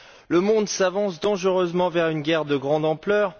Le monde s'avance dangereusement vers une guerre de grande ampleur.